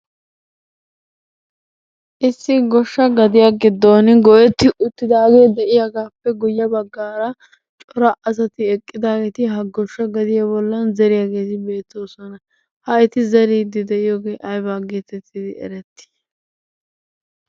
Issi goshsha gadiyan giddon goyetti uttidaagee de'iyagaappe guyye baggaara cora asati eqqidaageeti ha goshsha gadiya bollan zeriyageeti beettoosona. Ha eti zeriiddi de'iyogee ayiba geetettidi erettii?